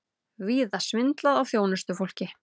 Víða svindlað á þjónustufólki